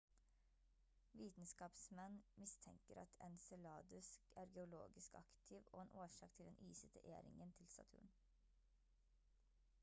vitenskapsmenn mistenker at enceladus er geologisk aktiv og en årsak til den isete e-ringen til saturn